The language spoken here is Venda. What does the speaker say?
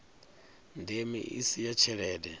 ndeme i si ya tshelede